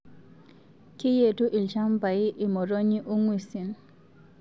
Keyetu ilchambai imotonyii oo nguesin